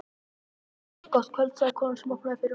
Gott kvöld sagði konan sem opnaði fyrir honum.